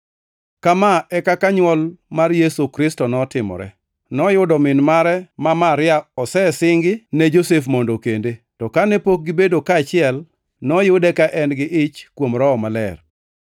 Kama e kaka nywol mar Yesu Kristo notimore: Noyudo min mare ma Maria osesingi ne Josef mondo okende, to kane pok gibedo kaachiel, noyude ka en gi ich kuom Roho Maler.